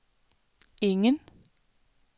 ingen